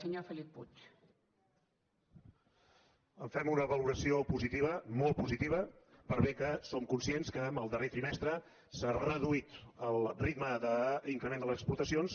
en fem una valoració positiva molt positiva per bé que som conscients que en el darrer trimestre s’ha reduït el ritme d’increment de les exportacions